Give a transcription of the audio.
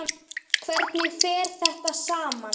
Hvernig fer þetta saman?